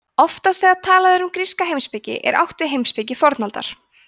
oftast þegar talað er um gríska heimspeki er átt við heimspeki fornaldar